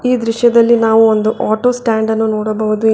ಈ ದೃಶ್ಯದಲ್ಲಿ ನಾವು ಒಂದು ಆಟೋ ಸ್ಟ್ಯಾಂಡ್ ಅನ್ನು ನೋಡಬಹುದು.